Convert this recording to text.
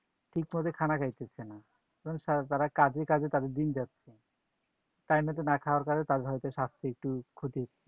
ঠিকমত খানা খাইতেছে না, কারণ তারা কাজে কাজে তাদের দিন যাচ্ছে। time মতো না খাওয়ার ফলে তার হয়তো স্বাস্থ্যএকটু ক্ষতি